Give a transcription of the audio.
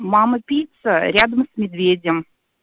мама пицца рядом с медведем